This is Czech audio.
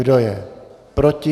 Kdo je proti?